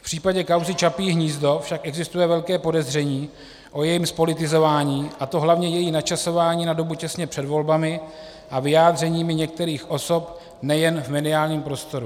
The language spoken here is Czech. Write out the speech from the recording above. V případě kauzy Čapí hnízdo však existuje velké podezření o jejím zpolitizování, a to hlavně její načasování na dobu přesně před volbami a vyjádřeními některých osob nejen v mediálním prostoru.